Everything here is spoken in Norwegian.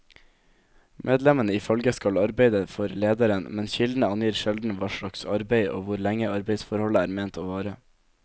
Medlemmene i følget skal arbeide for lederen, men kildene angir sjelden hva slags arbeid og hvor lenge arbeidsforholdet er ment å vare.